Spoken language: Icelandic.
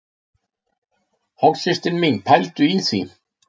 Hálfsystir mín, pældu í því!